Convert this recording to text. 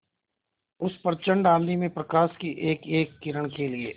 उस प्रचंड आँधी में प्रकाश की एकएक किरण के लिए